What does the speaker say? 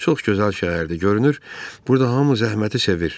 Çox gözəl şəhərdir görünür, burda hamı zəhməti sevir.